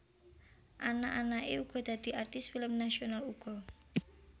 Anak anake uga dadi artis film nasional uga